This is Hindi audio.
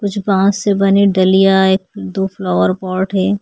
कुछ बांस से बनी डलिया एक दो फ्लावर पॉट है।